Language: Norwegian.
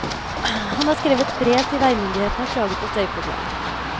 Han har skrevet brev til veimyndighetene og klaget på støyproblemet.